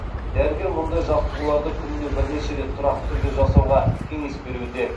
дәрігер мұндай жаттығуларды күніне бірнеше рет тұрақты түрде жасауға кеңес беруде